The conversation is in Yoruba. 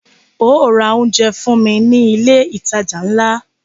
Óò ra oúnjẹ fún mí ní ilé ìtajà ńlá!